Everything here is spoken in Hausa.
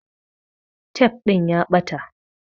Tef ɗin ya ɓata